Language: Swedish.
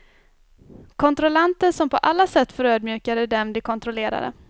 Kontrollanter som på alla sätt förödmjukade dem de kontrollerade.